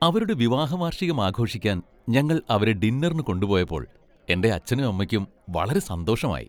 അവരുടെ വിവാഹ വാർഷികം ആഘോഷിക്കാൻ ഞങ്ങൾ അവരെ ഡിന്നറിനു കൊണ്ടുപോയപ്പോൾ എന്റെ അച്ഛനും അമ്മയ്ക്കും വളരെ സന്തോഷമായി .